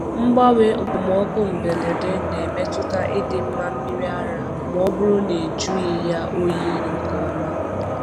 Mgbanwe okpomọkụ mberede na-emetụta ịdị mma mmiri ara ma ọ bụrụ na ejughị ya oyi nke ọma.